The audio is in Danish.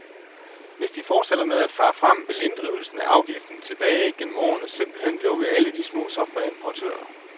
Hvis de fortsætter med at fare frem, vil inddrivelsen af afgiften tilbage gennem årene simpelt hen lukke alle de små softwareimportører.